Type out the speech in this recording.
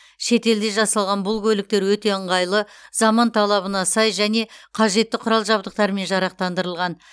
шетелде жасалған бұл көліктер өте ыңғайлы заман талабына сай және қажетті құрал жабдықтармен жарақтандырылған